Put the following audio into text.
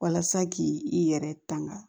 Walasa k'i i yɛrɛ tanga